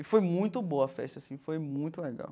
E foi muito boa a festa assim, foi muito legal.